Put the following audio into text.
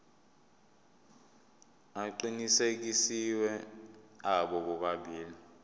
aqinisekisiwe abo bobabili